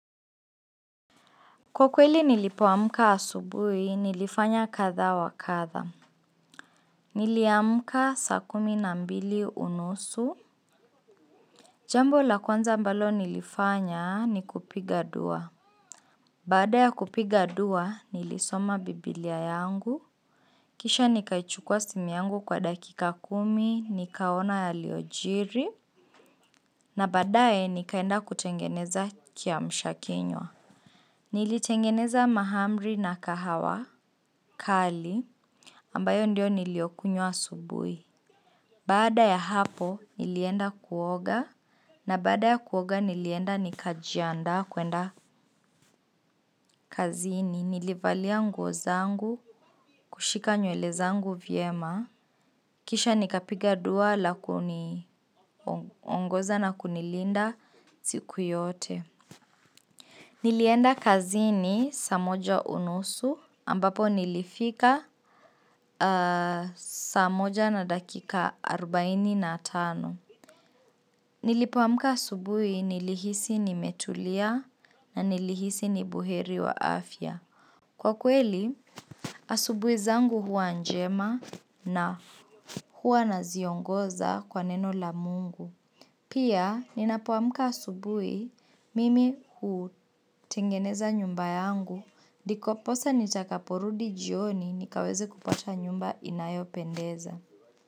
Kwa kweli nilipoamka asubuhi, nilifanya kadha wa kadha. Niliamka saa kumi na mbili unusu. Jambo la kwanza mbalo nilifanya ni kupiga dua. Baada ya kupiga dua, nilisoma biblia yangu. Kisha nikaichukua simu yangu kwa dakika kumi, nikaona yaliojiri. Na baadaye nikaenda kutengeneza kiamsha kinywa. Nilitengeneza mahamri na kahawa kali ambayo ndio niliokunywa asubuhi. Baada ya hapo, nilienda kuoga, na baada ya kuoga nilienda nikajianda kwenda kazini. Nilivalia nguo zangu, kushika nywele zangu vyema. Kisha nikapiga dua la kuniongoza na kunilinda siku yote. Nilienda kazini saa moja unusu, ambapo nilifika saa moja na dakika arubaini na tano. Nilipoamka asubuhi nilihisi nimetulia na nilihisi ni buheri wa afya. Kwa kweli, asubuhi zangu huwa njema na huwa naziongoza kwa neno la mungu. Pia, ninapoamka asubuhi mimi hutengeneza nyumba yangu. Diposa nitakaporudi jioni nikaweze kupata nyumba inayopendeza.